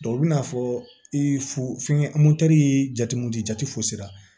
u bɛn'a fɔ i fu fɛngɛ ye jate mun di jate fosi la